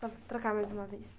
para trocar mais uma vez.